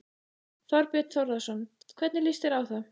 Þorbjörn Þórðarson: Hvernig líst þér á það?